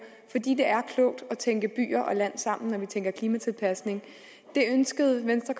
fordi det er klogt at tænke by og land sammen når vi tænker klimatilpasning det ønskede venstre